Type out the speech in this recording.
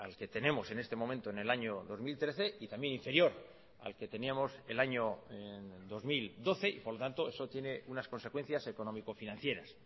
que tenemos en este momento en el año dos mil trece y también inferior al que teníamos el año dos mil doce y por lo tanto eso tiene unas consecuencias económico financieras